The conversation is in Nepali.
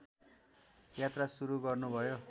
यात्रा सुरु गर्नुभयो